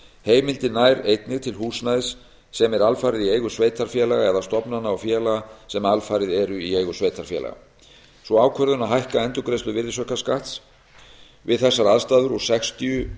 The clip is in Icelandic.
heimildin nær einnig til húsnæðis sem er alfarið í eigu sveitarfélaga eða stofnana og félaga sem alfarið eru í eigu sveitarfélaga sú ákvörðun að hækka endurgreiðslu virðisaukaskatts við þessar aðstæður úr sextíu